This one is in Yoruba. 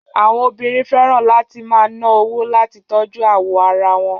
Àwọn obìnrin fẹ́ràn láti máa ná owó láti tọ́jú awọ ara wọn.